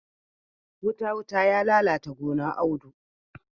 Wuta-wuta ya lalata gonar Audu.